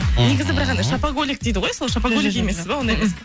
негізі бірақ андай шопоголик дейді ғой сол шопоголик емессіз ба ондай